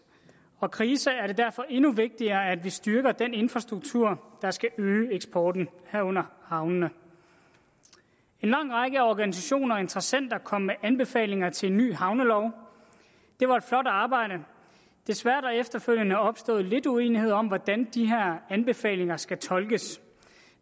og krise er det derfor endnu vigtigere at vi styrker den infrastruktur der skal øge eksporten herunder havnene en lang række af organisationer og interessenter kom med anbefalinger til en ny havnelov det var et flot arbejde men desværre efterfølgende opstået lidt uenighed om hvordan de her anbefalinger skal tolkes